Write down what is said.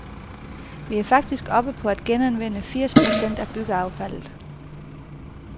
Vi er faktisk oppe på at genanvende firs procent af byggeaffaldet.